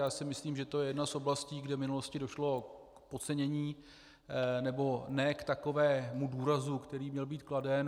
Já si myslím, že je to jedna z oblastí, kde v minulosti došlo k podcenění, nebo ne k takovému důrazu, který měl být kladen.